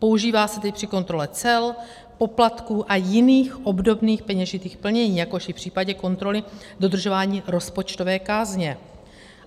Používá se tedy při kontrole cel, poplatků a jiných obdobných peněžitých plnění, jakož i v případě kontroly dodržování rozpočtové kázně.